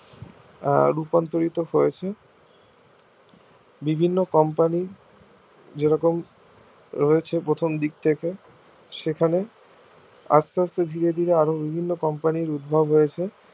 আহ রূপান্তরিত হৈছে বিভিন্ন company যেরকম রয়েছে প্রথম দিক থেকে সেখানে আস্তে আস্তে ধীরে ধীরে বিভিন্ন company র উদ্ভব হয়েছে